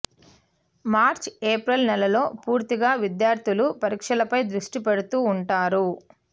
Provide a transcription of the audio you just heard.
మార్చి April నెలల్లో పూర్తిగా విద్యార్థులు పరీక్షలపై దృష్టి పెడుతూ ఉంటారు